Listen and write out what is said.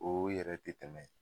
O yɛrɛ te tɛmɛ